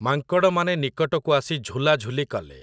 ମାଙ୍କଡ଼ମାନେ ନିକଟକୁ ଆସି ଝୁଲାଝୁଲି କଲେ ।